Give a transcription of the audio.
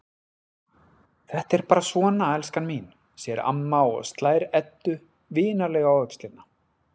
Þetta er bara svona, elskan mín, segir amma og slær Eddu vinalega á öxlina.